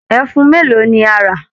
Ẹfun mélòó ni a rà!